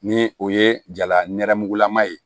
Ni o ye jala nɛrɛmugulama ye